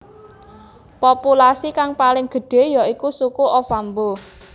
Populasi kang paling gedhé ya iku suku Ovambo